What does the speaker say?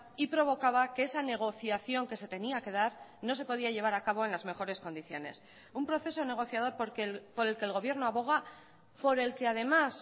y provocaba que esa negociación que se tenía que dar no se podía llevar a cabo en las mejores condiciones un proceso negociador por el que el gobierno aboga por el que además